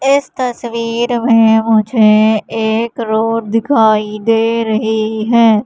इस तस्वीर में मुझे एक रोड दिखाई दे रही है।